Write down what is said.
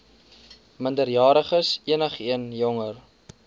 minderjariges enigeen jonger